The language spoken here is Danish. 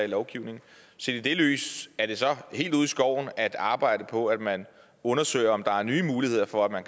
lovgivning set i det lys er det så helt ude i skoven at arbejde på at man undersøger om der kan være nye muligheder for at